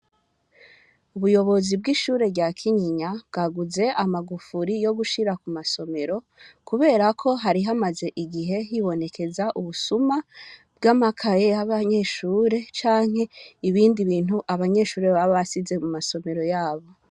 Ubuyobozi bw'ishure rya Kinyinya bwaguze amagufuri yo gushira ku masomero kubera ko hari hamaze igihe hibonekeza ubusuma bw'amakaye y'abanyeshure canke ibindi bintu abanyeshure baba basize mu masomero yabo.